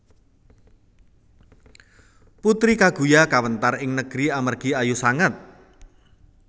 Putri Kaguya kawéntar ing negeri amargi ayu sanget